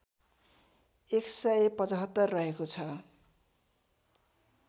१७५ रहेको छ